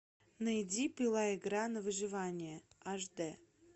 найди пила игра на выживание аш дэ